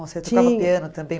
Você tocava piano também?